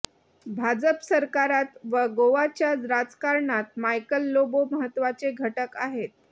भाजप सरकारात व गोव्याच्या राजकारणात मायकल लोबो महत्त्वाचे घटक आहेत